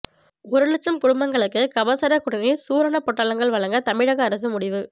ஒரு லட்சம் குடும்பங்களுக்கு கபசுரக் குடிநீர் சூரணப்பொட்டலங்கள் வழங்க தமிழக அரசு முடிவு